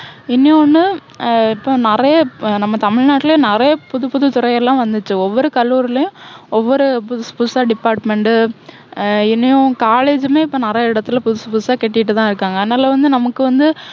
இன்னொண்ணு ஆஹ் இப்போ நிறைய, நம்ம தமிழ்நாட்டுலேயே நிறைய புது புது துறை எல்லாம் வந்திருச்சு. இப்போ ஒவ்வொரு கல்லூரிலையும் ஒவ்வொரு புதுசு புதுசா department டு ஆஹ் இன்னும் college னு இப்போ நிறைய இடத்துல புதுசு புதுசா கட்டிட்டு தான் இருக்காங்க. அதனால வந்து நமக்கு வந்து,